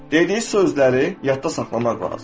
Dediyi sözləri yadda saxlamaq lazımdır.